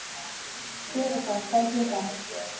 Teresa, hvað er klukkan?